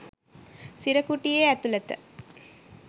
සිර කුටියේ ඇතුළත